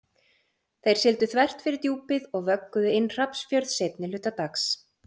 Þeir sigldu þvert fyrir Djúpið og vögguðu inn Hrafnsfjörð seinni hluta dags.